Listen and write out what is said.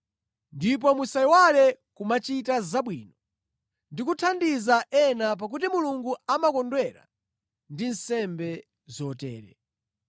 Ndipo musayiwale kumachita zabwino ndi kuthandiza ena, pakuti Mulungu amakondwera ndi nsembe zotere.